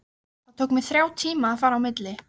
Það tók mig þrjá tíma að fara á milli.